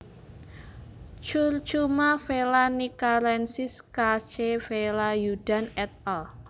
Curcuma vellanikkarensis K C Velayudhan et al